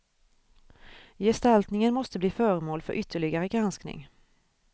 Gestaltningen måste bli föremål för ytterligare granskning.